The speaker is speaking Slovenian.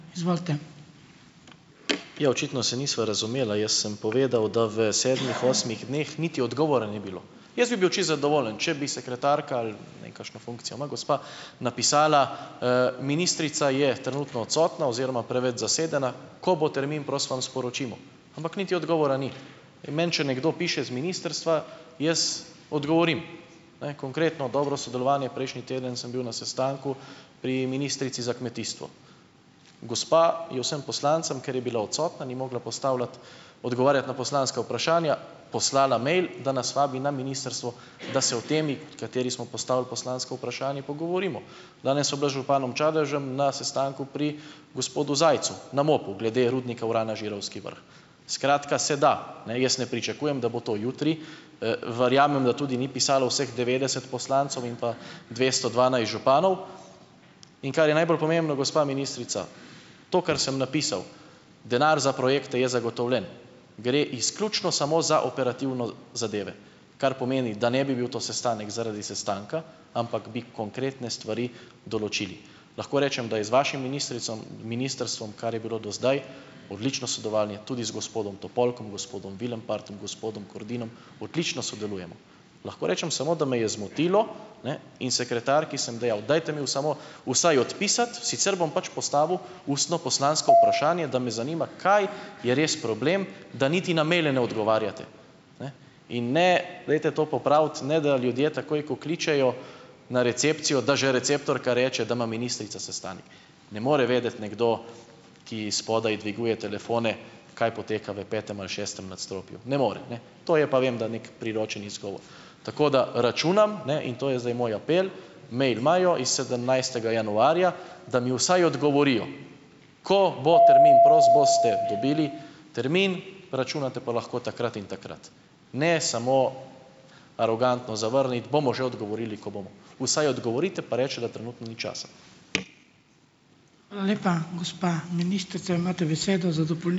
Ja, očitno se nisva razumela, jaz sem povedal, da v sedmih, osmih dneh niti odgovora ni bilo. Jaz bi bil čisto zadovoljen, če bi sekretarka ali, ne vem kakšno funkcijo ima gospa, napisala, ministrica je trenutno odstotna oziroma preveč zasedena, ko bo termin prost, vam sporočimo. Ampak niti odgovora ni in meni, če nekdo piše z ministrstva, jaz odgovorim - ne, konkretno, dobro sodelovanje - prejšnji teden sem bil na sestanku pri ministrici za kmetijstvo. Gospa je vsem poslancem, ker je bila odsotna, ni mogla postavljati odgovarjati na poslanska vprašanja, poslala mail, da nas vabi na ministrstvo, da se o temi, o kateri smo postavili poslansko vprašanje, pogovorimo. Danes sva bila z županom Čadežem na sestanku pri gospodu Zajcu, na MOP-u, glede rudnika urana Žirovski vrh. Skratka, se da. Ne, jaz ne pričakujem, da bo to jutri, verjamem, da tudi ni pisalo vseh devetdeset poslancev in pa dvesto dvanajst županov. In kar je najbolj pomembno, gospa ministrica, to kar sem napisal - denar za projekte je zagotovljen - gre izključno samo za operativne zadeve, kar pomeni, da ne bi bil to sestanek zaradi sestanka, ampak bi konkretne stvari določili. Lahko rečem, da je z vašim ministricom ministrstvom, kar je bilo do zdaj, odlično sodelovanje tudi z gospodom Topolkom, gospodom Vilenpartom, gospodom Kordinom odlično sodelujemo. Lahko rečem samo, da me je zmotilo, ne, in sekretarki sem dejal: "Dajte mi v samo, vsaj odpisati, sicer bom pač postavil ustno poslansko vprašanje, da me zanima, kaj je res problem, da niti na maile ne odgovarjate, ne?" In ne, dajte to popraviti, ne da ljudje takoj, ko kličejo na recepcijo, da že receptorka reče, da ima ministrica sestanek. Ne more vedeti nekdo, ki spodaj dviguje telefone, kaj poteka v petem ali šestem nadstropju. Ne more, ne. To je pa, vem, da neki priročen izgovor. Tako da računam, ne, in to je zdaj moj apel, mail imajo iz sedemnajstega januarja, da mi vsaj odgovorijo, ko bo termin prost, boste dobili termin, računate pa lahko takrat in takrat. Ne samo arogantno zavrniti, bomo že odgovorili, ko bomo. Vsaj odgovorite, pa recite, da trenutno ni časa.